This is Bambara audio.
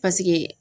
Paseke